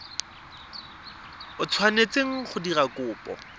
o tshwanetseng go dira kopo